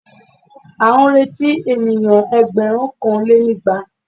À ń retí èèyàn ẹgbẹ̀rúnkanlénígba